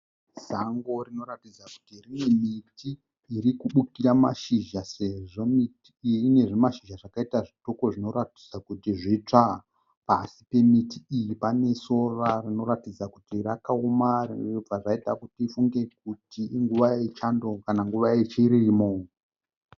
Sango rinoratidza kuti rine miti iri kubukira mashizha sezvo miti iyi ine zvimashizha zvakaita zvitoko zvinoratidza kuti zvitsva. Pasi pemiti iyi pane sora rinotaridza kuti rakaoma zvinobva zvaita kuti tifunge kuti inguva yechando kana kuti inguva yechirimo.